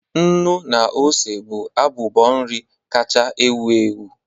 Nnu na ose bụ abụbọ nri kacha ewu ewu.